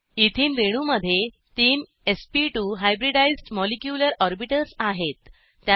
ethene रेणूमध्ये तीन एसपी2 हायब्रिडाइज्ड मॉलिक्यूलर ऑर्बिटल्सआहेत